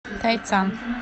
тайцан